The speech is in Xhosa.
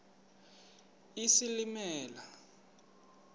isilimela